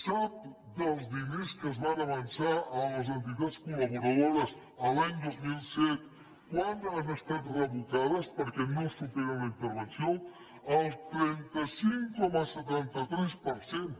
sap dels diners que es van avançar a les entitats col·laboradores l’any dos mil set quants han estat revocats perquè no superen la intervenció el trenta cinc coma setanta tres per cent